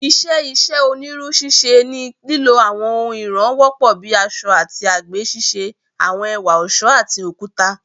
"Iṣẹ́ iṣẹ́ onírú ṣíṣe ni lílò àwọn ohun ìràn wọ́pọ̀ bíi àṣọ́ àti àgbè ṣíṣe àwọn ẹ̀wà ọ̀ṣọ́ àti okuta."